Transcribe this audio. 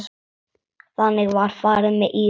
Þannig var farið með Íra.